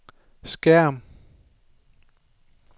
skærm